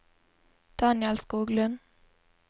Daniel Skoglund